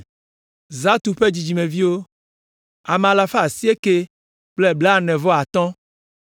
Zatu ƒe dzidzimeviwo, ame alafa asiekɛ kple blaene-vɔ-atɔ̃ (945).